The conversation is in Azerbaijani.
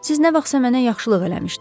Siz nə vaxtsa mənə yaxşılıq eləmişdiniz.